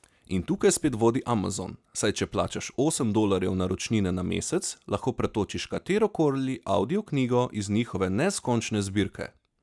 In tukaj spet vodi Amazon, saj če plačaš osem dolarjev naročnine na mesec, lahko pretočiš katero koli avdioknjigo iz njihove neskončne zbirke.